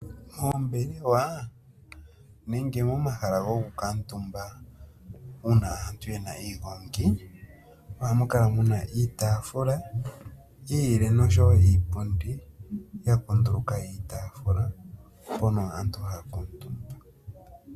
Moombelewa nenge momahala gokukuutumba uuna aantu yena iigongi, ohamu kala muna iitaafula yi ilile nosho wo iipundi ya kunduluka iitaafula mpono aantu haa kuutumba.